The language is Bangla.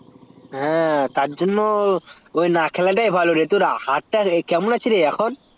হ্যা তারজন্য তোর না খেলাটাই ভালো তা তোর হাতটা কেমন আছে রে এখন